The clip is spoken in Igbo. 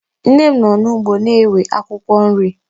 Nne m nọ n'ugbo na-ewe akwụkwọ nri